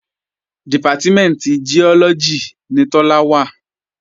Dìpátímẹ̀ntì Giọ́lọ́gì ni Tọ́lá wà